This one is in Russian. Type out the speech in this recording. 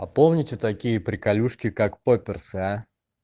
а помните такие приколюшки как поперсы а